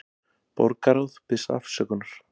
Borgarráð biðst afsökunar